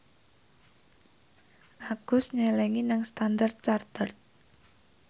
Agus nyelengi nang Standard Chartered